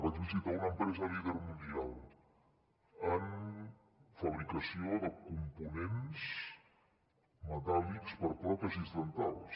vaig visitar una empresa líder mundial en fabricació de components metàl·lics per a pròtesis dentals